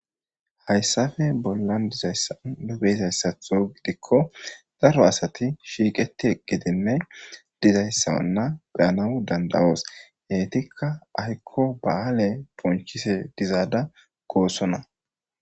Hayssafe bollan dizayssan dobeyzayssatho gidikko daro asati shiiqeti gidinne dizayssa anna beyana dandawoos heytikka ahikko ba7aale punchise dizaada goosonna.